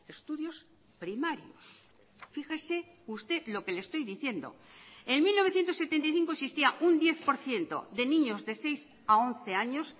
estudios primarios fíjese usted lo que le estoy diciendo en mil novecientos setenta y cinco existía un diez por ciento de niños de seis a once años